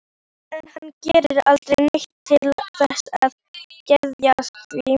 En hann gerir aldrei neitt til þess að geðjast því.